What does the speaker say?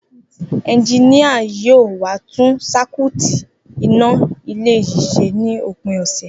Enjiníà yóò wá tún sakúùtì iná ilé yìí se ní òpin òsè